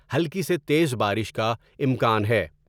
ہلکی سے تیز بارش کا امکان ہے ۔